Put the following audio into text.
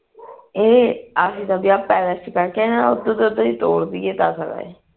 ਇਹ ਦਾ ਵਿਆਹ palace ਵਿਚ ਕਹਿ ਕੇ ਨਾ ਉਧਰ ਦਾ ਉਧਰ ਤੋਰ ਦਈਏ ਤਦ